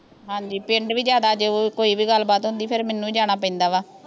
ਹਾਂਜੀ ਪਿੰਡ ਵੀ ਜਿਆਦਾ ਜੋ ਕੋਈ ਵੀ ਗੱਲ ਬਾਤ ਹੁੰਦੀ ਫੇਰ ਮੈਨੂੰ ਹੀ ਜਾਣਾ ਪੈਂਦਾ ਵਾ